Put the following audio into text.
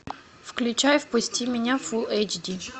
включай впусти меня фул эйч ди